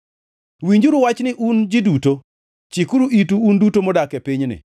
Winjuru wachni, un ji duto: chikuru itu, un duto mudak e pinyni,